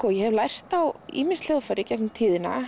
ég hef lært á ýmis hljóðfæri í gegnum tíðina